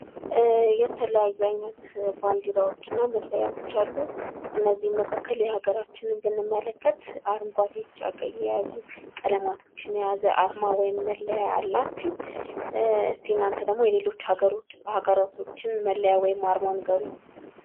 የተለያዩ አይነት ባንዲራዎችና መለያዎች አሉ ከነዚህም መካከል የሀገራችንን ብንመለከት አረንጓዴ ፣ቢጫ፣ ቀይ የያዙ ቀለማቶችን የያዘ አርማ ወይም መለያ አላት ።እስኪ እናንተ ደግሞ የሌሎች ሃገራቶችን አርማ ወይም መለያ ነገሩኝ ?